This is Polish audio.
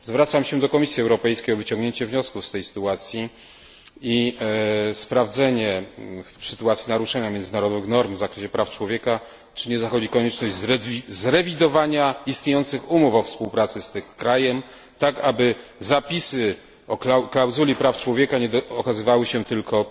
Zwracam się do Komisji Europejskiej o wyciągnięcie wniosków z tej sytuacji i sprawdzenie, w sytuacji naruszenia międzynarodowych norm w zakresie praw człowieka, czy nie zachodzi konieczność zrewidowania istniejących umów o współpracy z tym krajem, tak aby zapisy o klauzuli praw człowieka nie okazywały się tylko